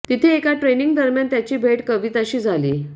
तिथे एका ट्रेनिंग दरम्यान त्याची भेट कविताशी झाली